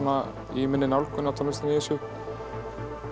í minni nálgun á tónlistina í þessu